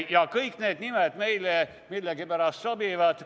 Ja kõik need nimed meile millegipärast sobivad.